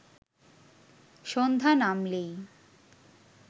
সন্ধ্যা নামলেই